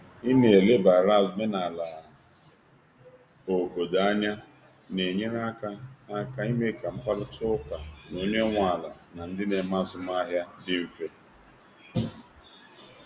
Ị na elebara omenala obodo anya na enyere aka aka ime ka mkparịta ụka na onye nwe ala na ndị na eme azụmahịa dị mfe.